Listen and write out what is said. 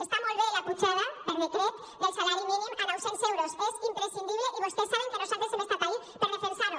està molt bé la pujada per decret del salari mínim a nou·cents euros és imprescindible i vostès saben que nosaltres hem estat ahí per defensar·ho